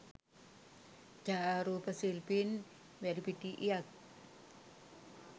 ඡායාරූප ශිල්පී වැලිපිටියත්